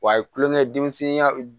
Wa kulonkɛ denmisɛnninya